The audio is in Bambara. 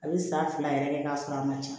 A bɛ san fila yɛrɛ kɛ k'a sɔrɔ a ma ca